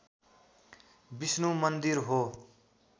विष्णु मन्दिर हो